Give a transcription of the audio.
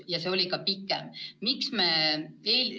Ja see periood on ka pikem.